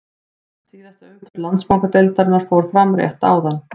Næst síðasta umferð Landsbankadeildarinnar fór fram rétt áðan.